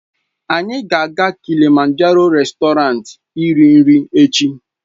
Anyị ga-aga Kilịmanjaroo réstọranti iri nri echi.